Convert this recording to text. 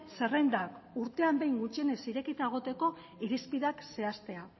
zerrendak urtean behin gutxienez irekita egoteko irizpideak zehaztea